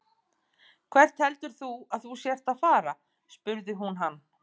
Hvert heldur þú að þú sért að fara? spurði hún hann.